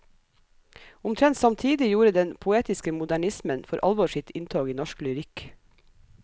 Omtrent samtidig gjorde den poetiske modernismen for alvor sitt inntog i norsk lyrikk.